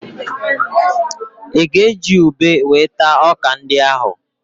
Ị ga-eji ube wee taa ọ́kà ndị ahụ?